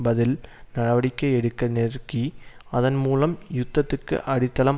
பதில் நடவடிக்கை எடுக்க நெருக்கி அதன் மூலம் யுத்தத்துக்கு அடித்தளம்